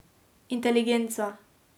Inteligenca.